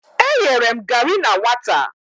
E yere m gari na nwata.